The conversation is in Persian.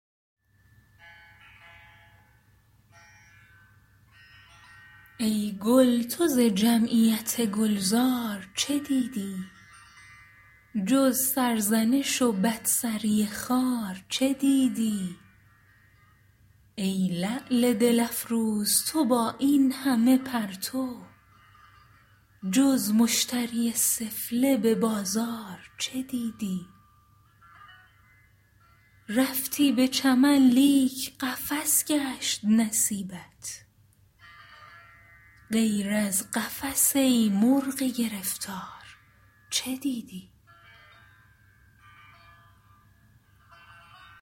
ای گل تو ز جمعیت گلزار چه دیدی جز سرزنش و بد سری خار چه دیدی ای لعل دل افروز تو با اینهمه پرتو جز مشتری سفله ببازار چه دیدی رفتی به چمن لیک قفس گشت نصیبت غیر از قفس ای مرغ گرفتار چه دیدی